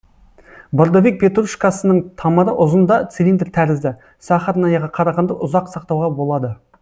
бордовик петрушкасының тамыры ұзын да цилиндр тәрізді сахарнаяға қарағанда ұзақ сақтауға болады